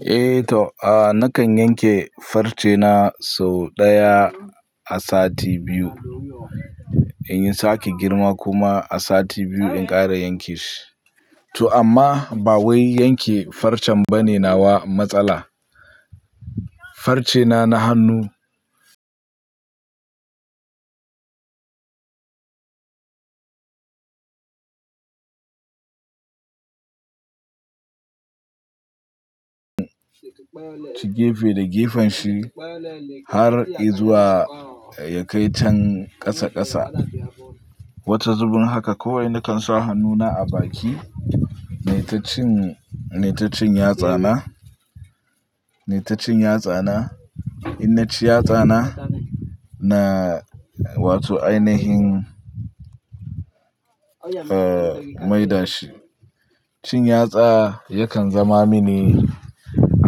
Eh to, a nakan yanke farce na sau ɗaya a sati biyu in yi sake girma kuma a sati biyu in ƙara yanke shi. To amma ba wai yanke farcen bane nawa matsala. Farce na, na hannu ci gefe da gefen shi har izuwa ya kai can ƙasa ƙasa. Wata zuɓin haka kawai nakan sa hannuna a baki. Nayi ta cin, nayi ta cin yatsa na, nayi ta cin yatsa na, in naci yatsa na, na wato ainihin, eh maida shi. Cin yatsa yakan zama mini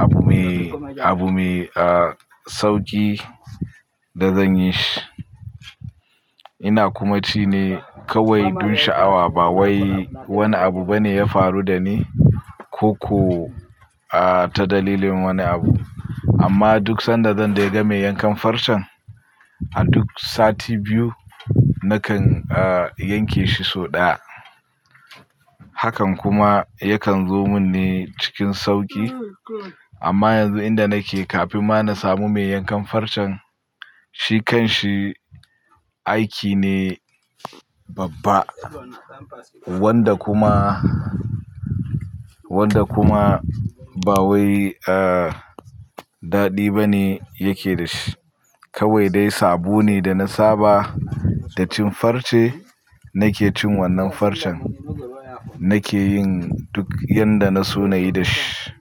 abu mai, abu mai, ah sauƙi da zan yi shi. Ina kuma ci ne kawai dun sha'awa ba wai wani abu bane ya faru da ni ko, ko ah ta dalilin wani abu. Amma duk sanda zan dai ga mai yankan farcen a duk sati biyu nakan ah yanke shi sau ɗaya. Hakan kuma yakan zo mini cikin sauƙi. Amma yanzu inda nake kafin ma na samu mai yankan farcen, shi kan shi aiki ne babba wanda kuma, wanda kuma ba wai ah daɗi bane yake da shi. Kawai dai sabo ne da na saba da cin farce nake cin wannan farcen nake yin duk yadda na so na yi da shi.